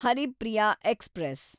Haripriya express